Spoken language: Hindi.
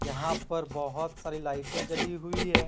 यहां पर बहुत सारी लाइटें जली हुई है।